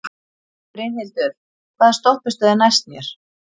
Brynhildur, hvaða stoppistöð er næst mér?